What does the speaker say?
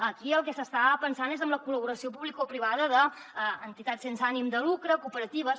aquí en el que s’està pensant és en la collaboració publicoprivada d’entitats sense ànim de lucre cooperatives